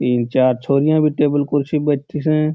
तीन चार छोरिया टेबिल कुर्सियां पर बैठी स।